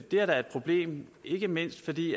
det er da et problem ikke mindst fordi